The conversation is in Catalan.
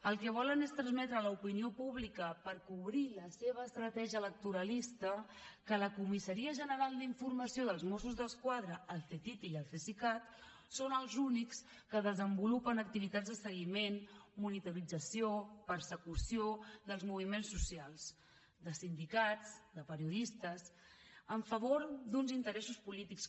el que volen és transmetre a l’opinió pública per cobrir la seva estratègia electoralista que la comissaria general d’informació dels mossos d’esquadra el ctti i el cesicat són els únics que desenvolupen activitats de seguiment monitorització persecució dels moviments socials de sindicats de periodistes en favor d’uns interessos polítics